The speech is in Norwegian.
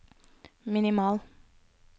minimal